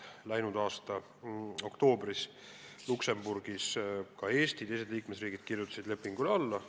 Läinud aasta oktoobris kirjutasid Eesti ja teised liikmesriigid Luksemburgis lepingule alla.